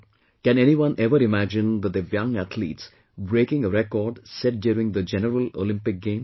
Can anyone ever imagine the DIVYANG athletes breaking a record set during the general Olympic Games